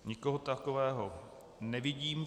Nikoho takového nevidím.